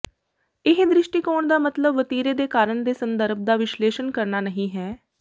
ਇਹ ਦ੍ਰਿਸ਼ਟੀਕੋਣ ਦਾ ਮਤਲਬ ਵਤੀਰੇ ਦੇ ਕਾਰਨ ਦੇ ਸੰਦਰਭ ਦਾ ਵਿਸ਼ਲੇਸ਼ਣ ਕਰਨਾ ਨਹੀਂ ਹੈ